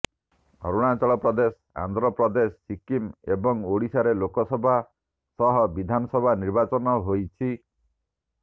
ଅରୁଣାଚଳପ୍ରଦେଶ ଆନ୍ଧ୍ରପ୍ରଦେଶ ସିକ୍କିମ ଏବଂ ଓଡ଼ିଶାରେ ଲୋକସଭା ସହ ବିଧାନସଭା ନିର୍ବାଚନ ହୋଇଛି